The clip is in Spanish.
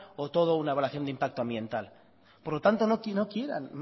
o toda una evaluación de impacto ambiental por lo tanto no quieran